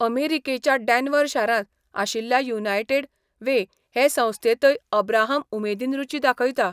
अमेरिकेच्या डॅन्व्हर शारांत आशिल्ल्या युनायटेड वे हे संस्थेंतय अब्राहम उमेदीन रूची दाखयता.